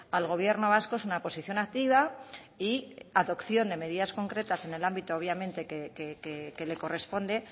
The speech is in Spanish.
al gobierno vasco es una posición activa y adopción de medidas concretas en el ámbito obviamente que le corresponde